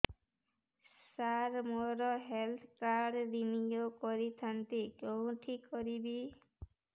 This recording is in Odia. ସାର ମୋର ହେଲ୍ଥ କାର୍ଡ ରିନିଓ କରିଥାନ୍ତି କେଉଁଠି କରିବି